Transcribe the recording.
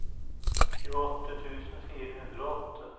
tjueåtte tusen fire hundre og åtte